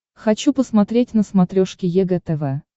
хочу посмотреть на смотрешке егэ тв